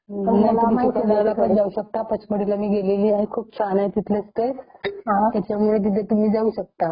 तुम्ही चिखलधाराला पण जाऊ शकता आणि पचमढी पण खूप छान आहे .मी गेलेली आहे तिथे . खूप छान आहेत तिथले स्पॉट्स . त्याच्यामुळे तुम्ही तिथे जाऊ शकता .